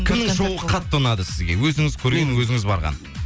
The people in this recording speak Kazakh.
кімнің шоуы қатты ұнады сізге өзіңіз көрген өзіңіз барған